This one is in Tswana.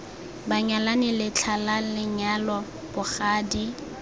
banyalani letlha la lenyalo bogadi